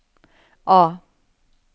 A